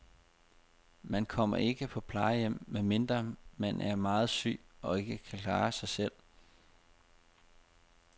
Man kommer ikke på plejehjem, medmindre man er meget syg og ikke kan klare sig selv.